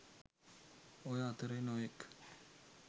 ඔය අතරේ නොයෙක්